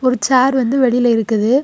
ஒரு சேர் வந்து வெளில இருக்குது.